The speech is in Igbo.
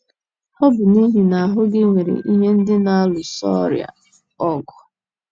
Ọ bụ n’ihi na ahụ́ gị nwere ihe ndị na - alụso ọrịa ọgụ.